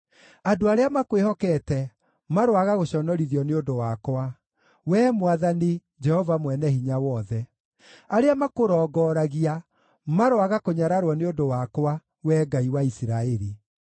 Andũ arĩa makwĩhokete, maroaga gũconorithio nĩ ũndũ wakwa, Wee Mwathani, Jehova Mwene-Hinya-wothe; arĩa makũrongoragia maroaga kũnyararwo nĩ ũndũ wakwa, Wee Ngai wa Isiraeli.